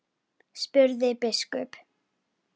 spurði biskup.